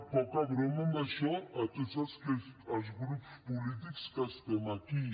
poca broma amb això tots els grups polítics que estem aquí